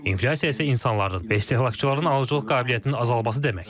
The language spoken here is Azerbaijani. İnflyasiya isə insanların və istehlakçıların alıcılıq qabiliyyətinin azalması deməkdir.